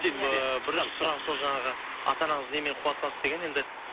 бірінші сұрақ сол жаңағы ата анаңызды немен қуантасыз деген енді